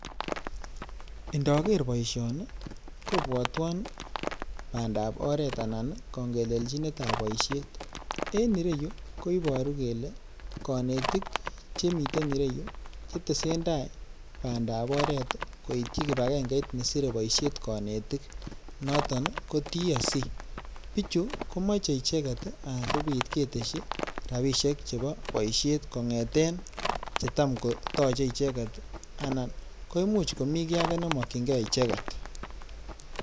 Indoker boishoni kobwotwon bandab oreet anan kong'elelchinetab boishet, en ireyuu koiboru kelee konetik chetesendai bandab oreet koityi kibakengeit nesire boishet konetik noton ko TSC, bichu komoche icheket sikobit ketesyi rabishek chebo boishet kong'eten chetan kotoche icheket anan ko imuch komii kii akee nemokying'e icheket.